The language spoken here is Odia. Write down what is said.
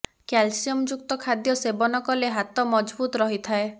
କାଲସିୟମ୍ ଯୁକ୍ତ ଖାଦ୍ୟ ସେବନ କଲେ ହାତ ମଜଭୁତ ରହିଥାଏ